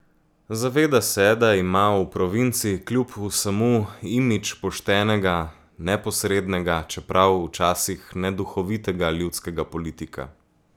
Zaveda se, da ima v provinci kljub vsemu imidž poštenega, neposrednega, čeprav včasih neduhovitega ljudskega politika.